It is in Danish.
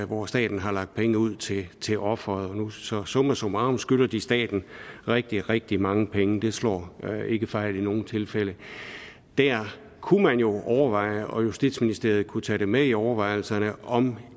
hvor staten har lagt pengene ud til til ofret så summa summarum skylder de staten rigtig rigtig mange penge det slår ikke fejl i nogen tilfælde der kunne man jo overveje og justitsministeriet kunne tage det med i overvejelserne om